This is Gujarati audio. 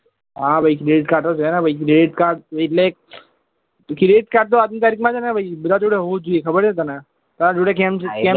હા ભાઈ credit card તો છે ને ભાઈ credit card એટલે credit card તો આજ ની તારીખ માં છે ને ભાઈ બધા જોડે હોવું જ જોઈએ તને તારા જોડે કેમ છે કેમ